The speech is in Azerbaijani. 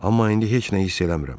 Amma indi heç nə hiss eləmirəm.